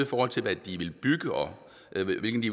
forhold til hvad de vil bygge og